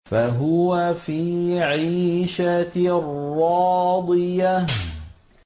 فَهُوَ فِي عِيشَةٍ رَّاضِيَةٍ